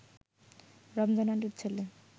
রমজান আলীর ছেলে